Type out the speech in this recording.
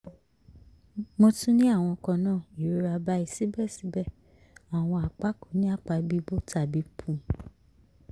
mo tun ni awọn kanna irora bayi sibẹsibẹ awọn apa ko ni apa bibo tabi pu